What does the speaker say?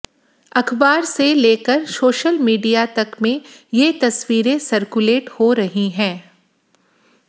अखबार से लेकर सोशल मीडिया तक में ये तस्वीरें सर्कुलेट हो रही हैं